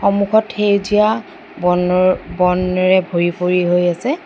সন্মুখত সেউজীয়া বন বনেৰে ভৰি পৰি হৈ আছে।